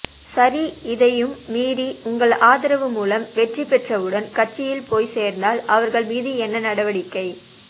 சரி இதையும் மீறி உங்கள் ஆதரவு மூலம் வெற்றிபெற்றவுடன் கட்சியில் போய் சேர்ந்தால் அவர்கள் மீது என்ன நடவடிக்கை